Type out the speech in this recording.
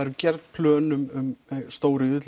eru gerð plön um stóriðju